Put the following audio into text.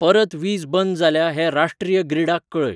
परत वीज बंद जाल्या हें राष्ट्रीय ग्रिडाक कळय